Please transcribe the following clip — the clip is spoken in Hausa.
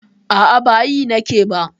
A'a, ba yi nake ba.